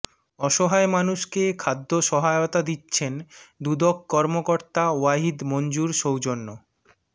অসহায় মানুষকে খাদ্য সহায়তা দিচ্ছেন দুদক কর্মকর্তা ওয়াহিদ মঞ্জুর সৌজন্য